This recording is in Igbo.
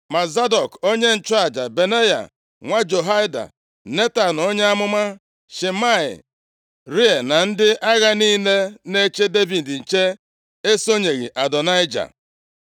Ma Zadọk onye nchụaja, Benaya nwa Jehoiada, Netan onye amụma, Shimei, Rei na ndị agha niile na-eche Devid nche esonyeghị Adonaịja.